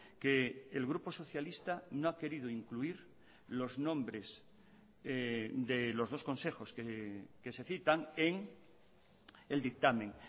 que el grupo socialista no ha querido incluir los nombres de los dos consejos que se citan en el dictamen